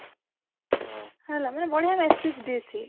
ହେଲା ମାନେ ବଢିଆ massage ଦିଏ ସିଏ